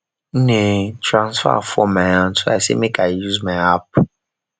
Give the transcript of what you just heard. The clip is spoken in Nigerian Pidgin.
nne transfer fall my hand so i say make i use my app